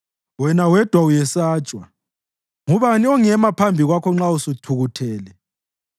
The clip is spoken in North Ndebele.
Wena wedwa uyesatshwa. Ngubani ongema phambi kwakho nxa usuthukuthele?